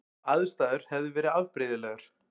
Aðstæður hefði verið afbrigðilegar